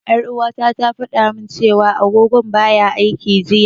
Ƴar'uwata ta fada min cewa agogon baya aiki jiya.